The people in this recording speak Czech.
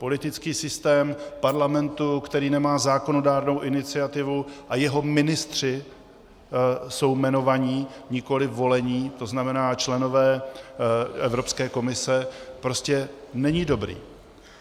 Politický systém parlamentu, který nemá zákonodárnou iniciativu a jeho ministři jsou jmenovaní, nikoli volení, to znamená členové Evropské komise, prostě není dobrý.